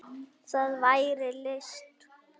Það væri list.